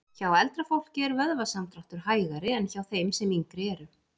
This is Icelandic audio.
Hjá eldra fólki er vöðvasamdráttur hægari en hjá þeim sem yngri eru.